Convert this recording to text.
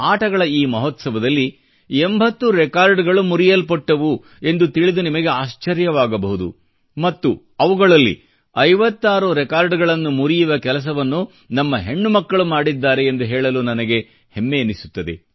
ಆಟಗಳ ಈ ಮಹೋತ್ಸವದಲ್ಲಿ 80 ರೆಕಾರ್ಡ್ಗಳು ಮುರಿಯಲ್ಪಟ್ಟವು ಎಂದು ತಿಳಿದು ನಿಮಗೆ ಆಶ್ಚರ್ಯವಾಗಬಹುದು ಮತ್ತು ಅವುಗಳಲ್ಲಿ 56 ರೆಕಾರ್ಡ್ಗಳನ್ನು ಮುರಿಯುವ ಕೆಲಸವನ್ನು ನಮ್ಮ ಹೆಣ್ಣುಮಕ್ಕಳು ಮಾಡಿದ್ದಾರೆ ಎಂದು ಹೇಳಲು ನನಗೆ ಹೆಮ್ಮೆ ಎನಿಸುತ್ತದೆ